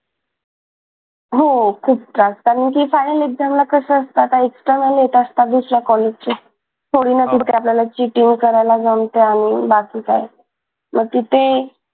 हो खूप त्रास कारण की final exam ला कसं असतं आता इतक्या वेळेला येत असतात दुसऱ्या कॉलेजचे थोडी ना तिथे आपल्याला cheating करायला जमतय आणि बाकी काय मग तिथे